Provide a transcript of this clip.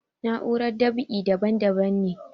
Na'urar dab'i daban daban ne